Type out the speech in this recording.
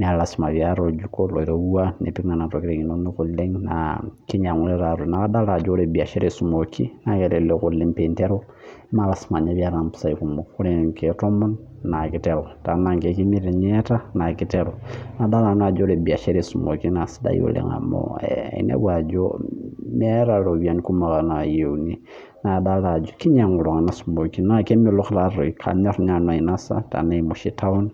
naa ilasim apee iyata oljuko loirowua lipik nena tokitin neeku kadol ajo ore biashara esumooki naa kelelek oleng' tininteru imelasima ninye pee iyata impisai kumok, tee naa inkeeek tomon naaa kiteru naa imiet naa kiteru, nadol nanu ajo ore biashara esumoki naa kisidai oleng' , meeeta iropiyiani kumok naa yieuni , naa kinyang'u iltung'anak sumoochi naa kanyor ninye nanu anosa taim oshi taun.